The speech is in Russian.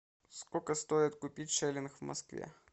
сколько стоит купить шиллинг в москве